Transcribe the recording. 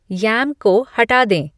यम को हटा दें